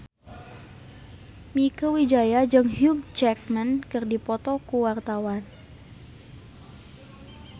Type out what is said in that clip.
Mieke Wijaya jeung Hugh Jackman keur dipoto ku wartawan